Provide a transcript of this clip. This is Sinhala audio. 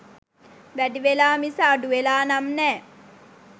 වැඩි වෙලා මිස අඩු වෙලා නම් නෑ.